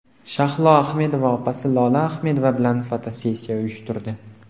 Shahlo Ahmedova opasi Lola Ahmedova bilan fotosessiya uyushtirdi.